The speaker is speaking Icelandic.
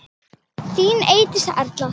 Þín Eydís Erla.